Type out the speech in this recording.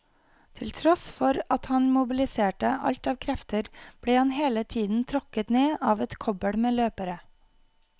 Til tross for at han mobiliserte alt av krefter ble han hele tiden tråkket ned av et kobbel med løpere.